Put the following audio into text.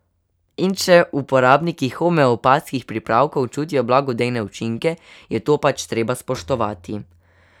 In če uporabniki homeopatskih pripravkov čutijo blagodejne učinke, je to pač treba spoštovati.